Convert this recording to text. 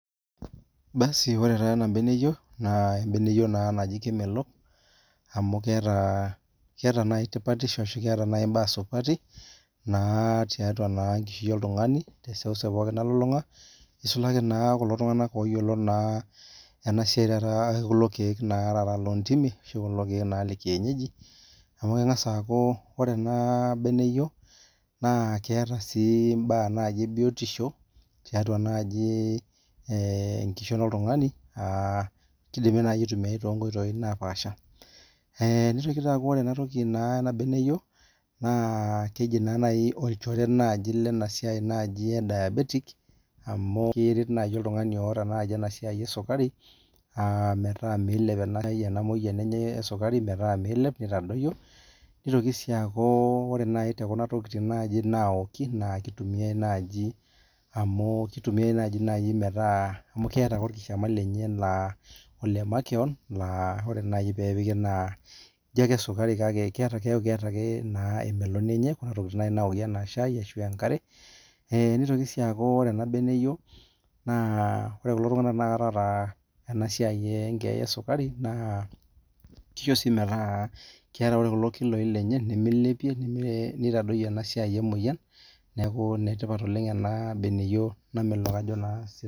Ore taa ena beneyio naa keji kemelok, amuu keeta imbaa supati tiatua enkishui oltungani te seuseu nalulunga, neisulaki naa kulo tunganak ooyiolo naa ena siai oorkeek loo ntimi. Kengas aaku ore ena beneyio neeta imbaa ebiotisho tenkishon oltungani. Ore sii ena beneyio naa orchore lena siai e diabetic amuu keret oltungani oota enasiai esukari metaa meilep. Ore too ntokitin naawoki neeta orkishama lenye le makewon laijo esukari kake eeta emeloni enye. Ore iltunganak oota emoyian esukari neisho irkiloi lenye metaa meilep neitadoyio esia emoyian